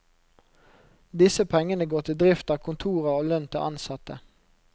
Disse pengene går til drift av kontorer og lønn til ansatte.